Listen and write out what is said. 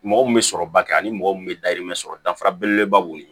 Mɔgɔ min bɛ sɔrɔba kɛ ani mɔgɔ min bɛ dayirimɛ sɔrɔ dafara belebeleba b'o ye